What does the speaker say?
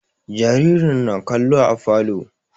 Jaririn na kallo a falo